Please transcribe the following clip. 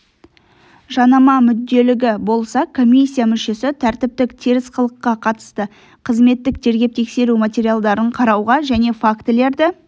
жанама мүдделілігі болса комиссия мүшесі тәртіптік теріс қылыққа қатысты қызметтік тергеп-тексеру материалдарын қарауға және фактілерді